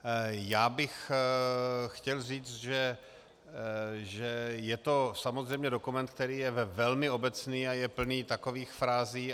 Já bych chtěl říct, že je to samozřejmě dokument, který je velmi obecný a je plný takových frází.